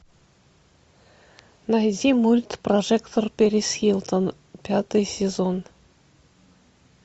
найди мульт прожекторперисхилтон пятый сезон